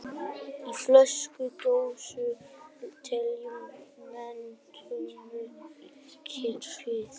Í frönsku og dönsku telja menn tuttugu í knippið.